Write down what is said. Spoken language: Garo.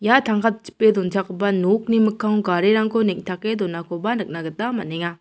ia tangka chipe donchakgipa nokni mikkango garirangko neng·take donakoba nikna gita man·enga.